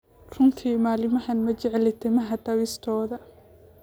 Runtii maalmahan ma jecli timaha dabistoda